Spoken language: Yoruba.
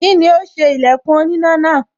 Kíni ó ṣe ilẹ̀kùn oníná náà?